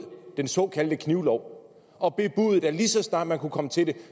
den såkaldte knivlov og bebudede at lige så snart man kunne komme til det